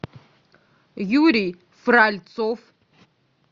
юрий фральцов